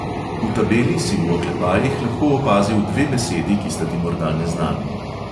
V tabeli si v oklepajih lahko opazil dve besedi, ki sta ti morda neznani.